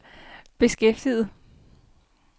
beskæftiget